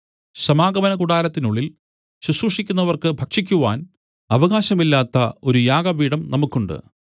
സമാഗമനകൂടാരത്തിനുള്ളിൽ ശുശ്രൂഷിക്കുന്നവർക്ക് ഭക്ഷിക്കുവാൻ അവകാശമില്ലാത്ത ഒരു യാഗപീഠം നമുക്കുണ്ട്